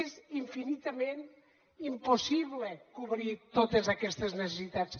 és infinitament impossible cobrir totes aquestes necessitats